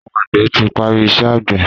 Àwọn àgbẹ̀ ti parí iṣẹ́ àgbẹ̀.